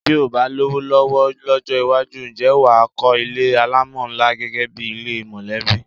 Bí o bá lówó ló̩wó̩ ló̩jó̩ iwájú, ǹjé̩ wà á kó̩ ilé alámò̩ ńlá gé̩gé̩ bi ilé mò̩lé̩bí?